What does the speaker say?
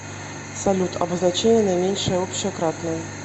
салют обозначение наименьшее общее кратное